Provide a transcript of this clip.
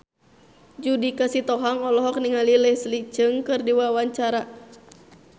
Judika Sitohang olohok ningali Leslie Cheung keur diwawancara